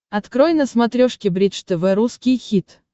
открой на смотрешке бридж тв русский хит